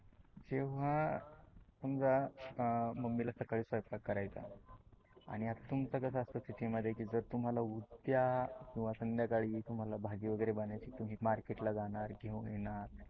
जेव्हा समजा मम्मी ला सकाळी स्वयमपाक करयाचा आहे. आणि तुमच कस असते सीटी मध्ये की जर तुम्हाला उद्या किवा संद्याकाळी तुम्हाला भाजी वगरे बनवायची तुम्ही मार्केट ला जाणार घेऊन येणार.